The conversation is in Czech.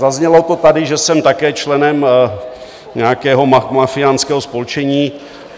Zaznělo to tady, že jsem také členem nějakého mafiánského spolčení.